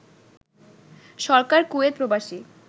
সরকার Kuwait প্রবাসী